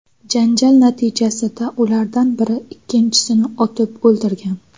Janjal natijasida ulardan biri ikkinchisini otib o‘ldirgan.